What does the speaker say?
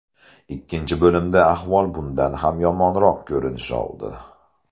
Ikkinchi bo‘limda ahvol bundan ham yomonroq ko‘rinish oldi.